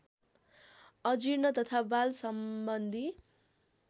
अजीर्ण तथा वाल सम्बन्धी